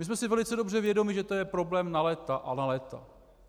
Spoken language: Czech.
My jsme si velice dobře vědomi, že to je problém na léta a na léta.